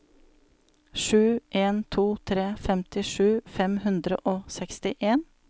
sju en to tre femtisju fem hundre og sekstien